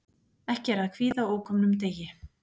Ekki er að kvíða ókomnum degi.